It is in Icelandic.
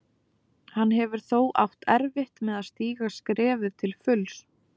Hann hefur þó átt erfitt með að stíga skrefið til fulls.